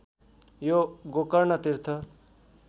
यो गोकर्ण तीर्थ